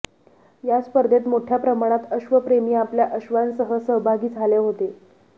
या स्पर्धेत मोठ्या प्रमाणात अश्वप्रेमी आपल्या अश्वांसह सहभागी झाले होते